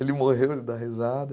Ele morreu, ele dá risada.